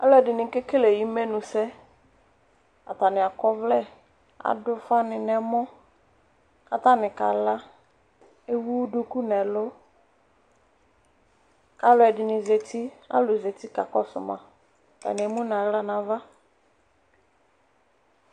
Alʋɛdini kekele imenʋsɛ atani akɔ ɔvlɛ adʋ ufa ni nʋ ɛmɔ kʋ atani kala ewʋ duku nʋ ɛlʋ kʋ alʋɛdini zati kʋ alʋ zati kakɔsʋ ma atani emʋ nʋ aɣla nʋ ava